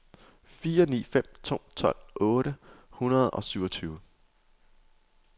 fire ni fem to tolv otte hundrede og syvogtyve